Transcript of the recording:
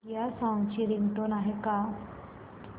या सॉन्ग ची रिंगटोन आहे का